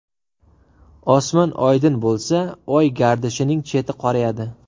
Osmon oydin bo‘lsa, Oy gardishining cheti qorayadi.